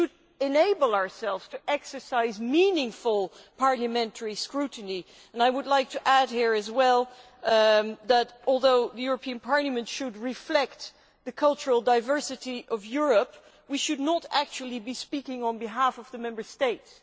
We should enable ourselves to exercise meaningful parliamentary scrutiny, and I would like to add here as well that although Parliament should reflect the cultural diversity of Europe, we should not actually be speaking on behalf of the Member States.